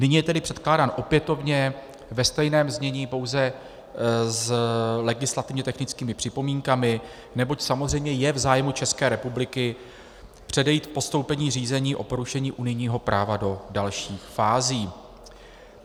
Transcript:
Nyní je tedy předkládán opětovně ve stejném znění, pouze s legislativně technickými připomínkami, neboť samozřejmě je v zájmu České republiky předejít postoupení řízení o porušení unijního práva do dalších fází.